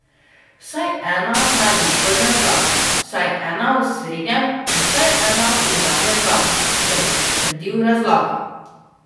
Vsaj ena naj bo v prvem planu, vsaj ena v srednjem in vsaj ena v zadnjem planu, da boš potrdil razlago.